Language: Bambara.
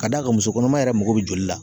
Ka d'a kan musokɔnɔma yɛrɛ mako bɛ joli la.